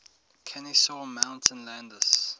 kenesaw mountain landis